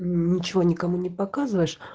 ничего никому не показываешь